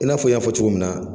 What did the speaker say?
N'a fɔ n y'a fɔ cogo min na